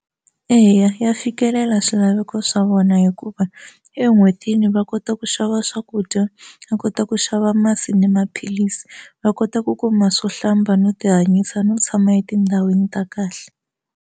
Eya ya fikelela swilaveko swa vona hikuva en'hwetini va kota ku xava swakudya va kota ku xava masi ni maphilisi va kota ku kuma swo hlamba no tihanyisa no tshama etindhawini ta kahle.